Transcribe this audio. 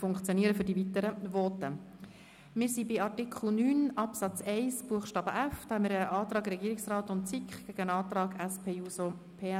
Zu Artikel 9 Absatz 1 Buchstabe f liegt ein Antrag Regierungsrat/SiK gegen einen Antrag SP-JUSO-PSA vor.